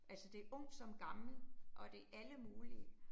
Altså det ung som gammel, og det alle mulige